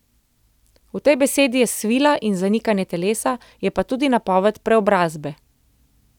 V tej besedi je svila in zanikanje telesa, je pa tudi napoved preobrazbe.